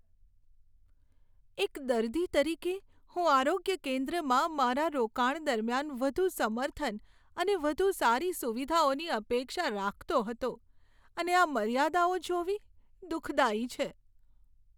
એક દર્દી તરીકે, હું આરોગ્ય કેન્દ્રમાં મારા રોકાણ દરમિયાન વધુ સમર્થન અને વધુ સારી સુવિધાઓની અપેક્ષા રાખતો હતો, અને આ મર્યાદાઓ જોવી દુઃખદાયી છે.